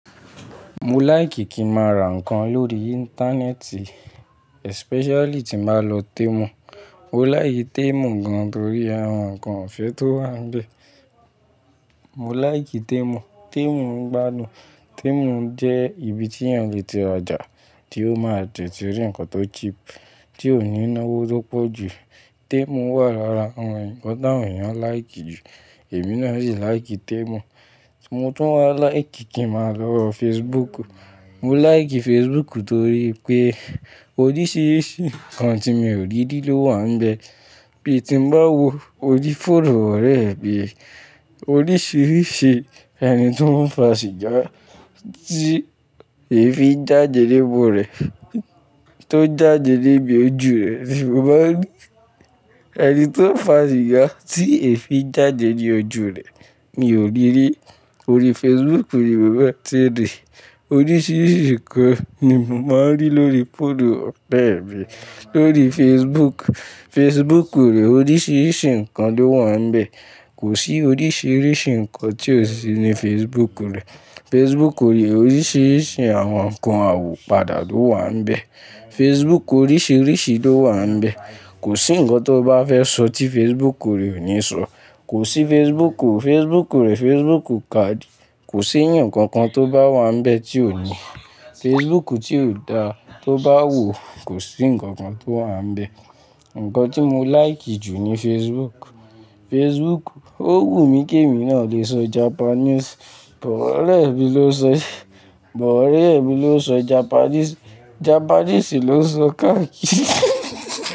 Mo like ki ma ra nǹkan lórí íńtánẹ́ẹ̀tì especially tí ba lọ Temu. Mo like Temu gan torí àwọn nǹkan ọ̀fẹ́ tó wà níbẹ̀. Mo like Temu, Temu ń gbádùn, Temu jẹ́ ibi tí èèyàn lè ti rajà tí ó máa tètè rí nǹkan tó cheap, tí ò ní nawo tó pọ̀ jù. Temu wà lára àwọn ǹkan tí àwọn èèyàn like jù, èmi náà sì like Temu. Mo tún wá like kí ma lọ Facebook. Mo like Facebook torí pé oríṣiríṣi nǹkan tí mi ò rí dí ló wà níbẹ̀. Bí tí bá wo orí fóònù mi oríṣiríṣi ẹni tí o n fà sìgá tí èéfín jáde ní imu rẹ̀, tó jáde ní ibi ojú rẹ ni mo máa ń rí. Ẹni tí ó fà sìgá tí èéfín jáde ní ojú rẹ̀ mi ò riri orí Facebook ni mo ma n ti ri oríṣiríṣi nǹkan ni mo máa ń rí lórí fóònu ọ̀re mi lórí Facebook, Facebook rẹ oríṣiríṣi nǹkan ló wà níbẹ̀. Kò sí oríṣiríṣi nǹkan tí ò sí ní Facebook rẹ̀. Facebook rẹ oríṣiríṣi àwọn nǹkan àwopada ló wà níbẹ̀. Facebook oríṣiríṣi ló wà níbẹ̀. Kò sí nǹkan tó bá fẹ́ sọ tí Facebook rẹ ò ní sọ. Kò sí Facebook o, Facebook rẹ Facebook kà di. Kò sí ẹ̀yàn kankan tó bá wà níbẹ̀ tí ò ní. Facebook tí ò da tó bá wò, kò sí nǹkan kan tó wà níbẹ̀. Ǹkan tí mo like jù ní Facebook. Facebook ó wù mí kí èmi náà lè sọ Japanese. But ọ̀rẹ́ mi ló sọ, but ọ̀rẹ́ mi ló sọ Japanese, Japanese ló sọ káàkiri.